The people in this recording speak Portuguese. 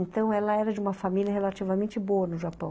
Então, ela era de uma família relativamente boa no Japão.